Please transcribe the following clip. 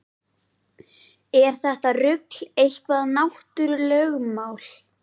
Er þetta rugl eitthvað náttúrulögmál?